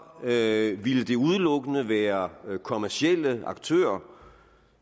havde det ville det udelukkende være kommercielle aktører